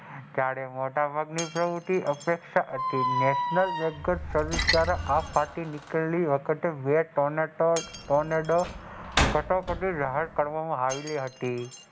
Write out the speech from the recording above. જયારે મોટા પબ્લિક ને અપેક્ષા હતી નેશનલ બેંક સર્વિસ દ્વારા બે તોનેતો કટોકટી જાહેર કરવામાં આવી હતી.